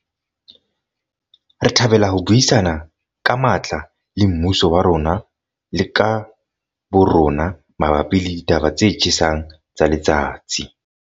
Re thabela ho buisana ka matla le mmuso wa rona le ka bo rona mabapi le ditaba tse tjhesang tsa letsatsi.